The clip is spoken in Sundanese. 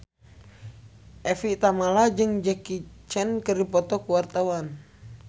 Evie Tamala jeung Jackie Chan keur dipoto ku wartawan